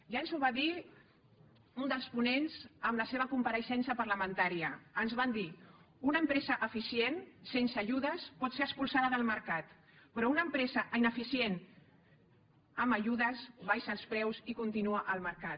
ja ens ho va dir un dels ponents en la seva compareixença parlamentària ens van dir una empresa eficient sense ajudes pot ser expulsada del mercat però una empresa ineficient amb ajudes abaixa els preus i continua al mercat